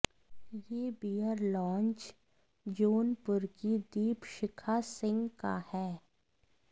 यह beer lounge Jaunpur की दीपशिखा सिंह का है